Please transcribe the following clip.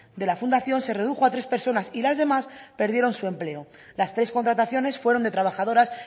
de la fundación se redujo a tres personas y las demás perdieron su empleo las tres contrataciones fueron de trabajadoras